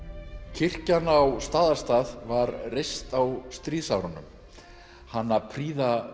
kirkjan á Staðarstað var reist á stríðsárunum hana prýða